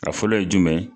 A fɔlɔ ye jumɛn ye